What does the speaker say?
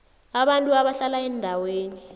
abantu abahlala eendaweni